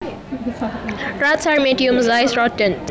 Rats are medium sized rodents